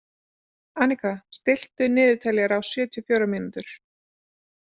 Anika, stilltu niðurteljara á sjötíu og fjórar mínútur.